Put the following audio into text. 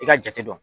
I ka jate dɔn